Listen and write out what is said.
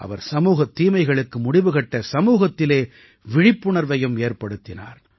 அவர் சமூகத் தீமைகளுக்கு முடிவு கட்ட சமூகத்திலே விழிப்புணர்வையும் ஏற்படுத்தினார்